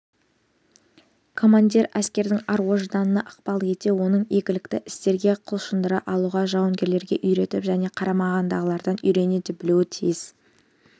командир әскердің ар-ожданына ықпал ете оны игілікті істерге құлшындыра алуға жауынгерлерге үйретіп және қарамағындағылардан үйрене де білуге тиіс